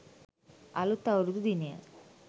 අලුත් අවුරුදු දිනය